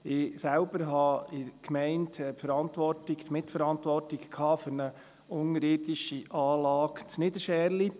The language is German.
Ich selbst hatte in der Gemeinde die Mitverantwortung für eine unterirdische Anlage in Niederscherli.